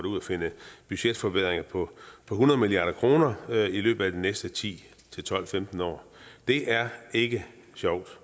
ud og finde budgetforbedringer på hundrede milliard kroner i løbet af de næste ti tolv femten år det er ikke sjovt